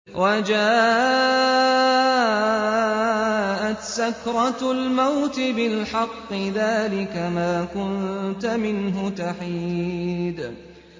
وَجَاءَتْ سَكْرَةُ الْمَوْتِ بِالْحَقِّ ۖ ذَٰلِكَ مَا كُنتَ مِنْهُ تَحِيدُ